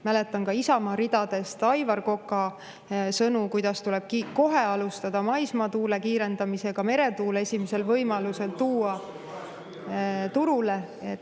Mäletan ka Isamaa ridadest Aivar Koka sõnu, et tuleb kohe alustada maismaatuule kiirendamist ja ka meretuul esimesel võimalusel turule tuua.